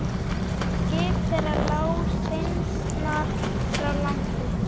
Skip þeirra lá steinsnar frá landi.